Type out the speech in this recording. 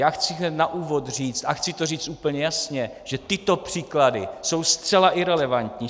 Já chci hned na úvod říct, a chci to říct úplně jasně, že tyto příklady jsou zcela irelevantní.